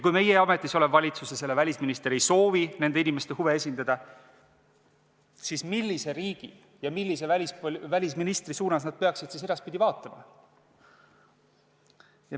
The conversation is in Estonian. Kui meie ametis olev valitsus ja selle välisminister ei soovi nende inimeste huve esindada, siis millise riigi ja millise välisministri suunas nad peaksid siis edaspidi vaatama?